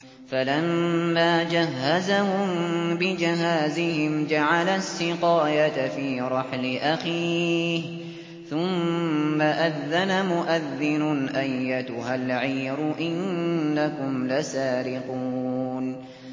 فَلَمَّا جَهَّزَهُم بِجَهَازِهِمْ جَعَلَ السِّقَايَةَ فِي رَحْلِ أَخِيهِ ثُمَّ أَذَّنَ مُؤَذِّنٌ أَيَّتُهَا الْعِيرُ إِنَّكُمْ لَسَارِقُونَ